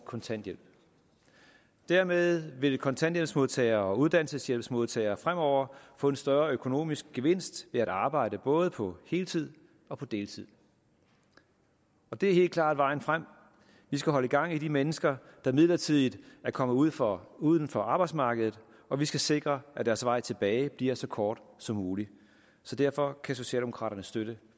kontanthjælp dermed vil kontanthjælpsmodtagere og uddannelseshjælpsmodtagere fremover få en større økonomisk gevinst ved at arbejde både på heltid og på deltid og det er helt klart vejen frem vi skal holde gang i de mennesker der midlertidigt er kommet uden for uden for arbejdsmarkedet og vi skal sikre at deres vej tilbage bliver så kort som muligt derfor kan socialdemokraterne støtte